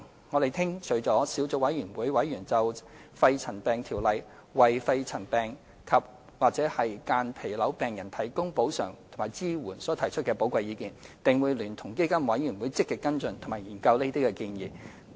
我們聽取了小組委員會委員就《條例》為肺塵病及/或間皮瘤病人提供補償及支援所提出的寶貴意見，定會聯同基金委員會積極跟進及研究這些建議。